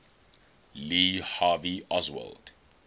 lee harvey oswald